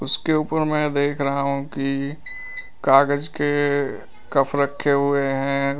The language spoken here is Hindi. उसके ऊपर मैं देख रहा हूं कि कागज के कप रखे हुए हैं।